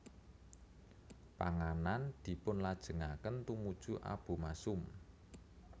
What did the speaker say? Panganan dipunlajengaken tumuju abomasum